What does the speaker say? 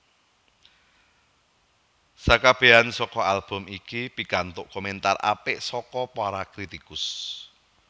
Sakabehan saka album iki pikantuk komentar apik saka para kritikus